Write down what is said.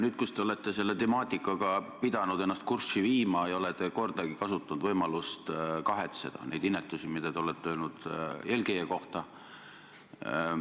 Nüüd, kui te olete selle temaatikaga pidanud ennast kurssi viima, ei ole te kordagi kasutanud võimalust kahetseda neid inetusi, mida olete öelnud eelkäija kohta.